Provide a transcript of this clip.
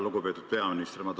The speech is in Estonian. Lugupeetud peaminister!